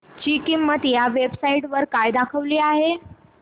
ची किंमत या वेब साइट वर काय दाखवली आहे